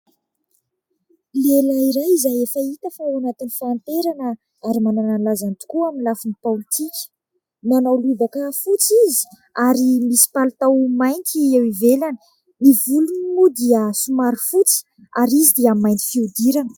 Lehilahy iray izay efa hita fa ao anatin'ny fahanterana ary manana ny lazany tokoa amin'ny lafiny politika. Manao lobaka fotsy izy ary misy palitao mainty eo ivelany. Ny volony moa dia somary fotsy ary izy dia mainty fihodirana.